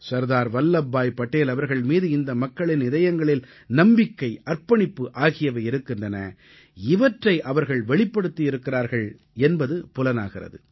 சர்தார் வல்லப்பாய் படேல் அவர்கள் மீது இந்த மக்களின் இதயங்களில் நம்பிக்கை அர்ப்பணிப்பு ஆகியவை இருக்கின்றன இவற்றை அவர்கள் வெளிப்படுத்தியிருக்கிறார்கள் என்பது புலனாகிறது